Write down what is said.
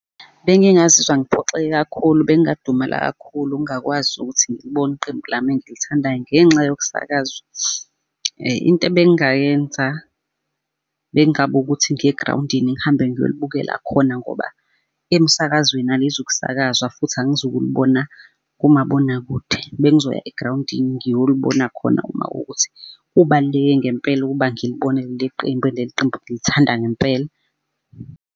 Bengingazizwa ngiphoxeke kakhulu bengadumala kakhulu ngakwazi ukuthi ngilibone iqembu lami engilithandayo ngenxa yokusakazwa. Into ebengayenza bengaba ukuthi ngiye e-grawundini ngihambe ngiyolibukela khona ngoba emsakazweni alizukusakazwa futhi angizukulibona kumabonakude. Bengizoya igrawundini ngiyolibona khona uma ukuthi kubaluleke ngempela ukuba ngilibone leli qembu eyi, leli qembu ngilithanda ngempela.